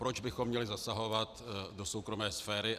Proč bychom měli zasahovat do soukromé sféry?